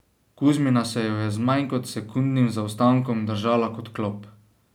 Kuzmina se jo je z manj kot sekundnim zaostankom držala kot klop.